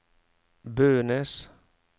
Bønes